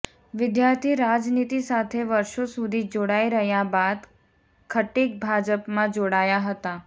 વિદ્યાર્થી રાજનીતિ સાથે વર્ષો સુધી જોડાઇ રહ્યાં બાદ ખટીક ભાજપમાં જોડાયાં હતાં